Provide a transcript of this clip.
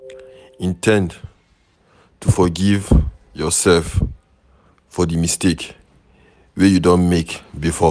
In ten d to forgive yourself for di mistake wey you don make before